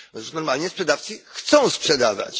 Normalnie sprzedawcy chcą sprzedawać.